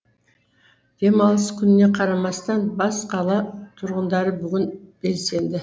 демалыс күніне қарамастан бас қала тұрғындары бүгін белсенді